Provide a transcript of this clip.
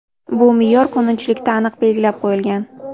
Bu me’yor qonunchilikda aniq belgilab qo‘yilgan.